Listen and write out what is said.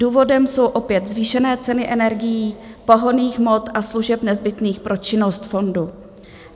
Důvodem jsou opět zvýšené ceny energií, pohonných hmot a služeb nezbytných pro činnost fondu.